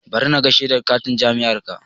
Bari naga shedar katin jam'iyyarka